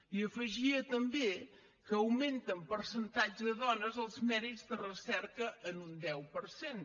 i afegia també que augmenta en percentatge de dones els mèrits de recerca en un deu per cent